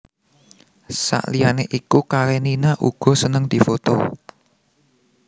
Saliyané iku Karenina uga seneng difoto